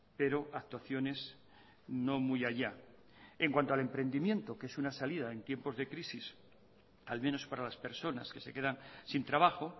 pero actuaciones no muy allá en cuanto al emprendimiento que es una salida en tiempos de crisis al menos para las personas que se quedan sin trabajo